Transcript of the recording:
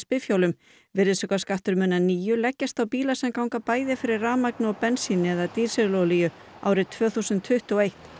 bifhjólum virðisaukaskattur mun að nýju leggjast á bíla sem ganga bæði fyrir rafmagni og bensíni eða dísilolíu árið tvö þúsund tuttugu og eitt